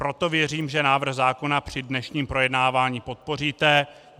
Proto věřím, že návrh zákona při dnešním projednávání podpoříte.